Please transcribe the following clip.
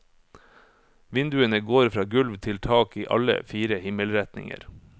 Vinduene går fra gulv til tak i alle fire himmelretninger.